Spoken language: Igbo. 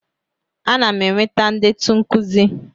Ana m eweta ndetu nkuzi.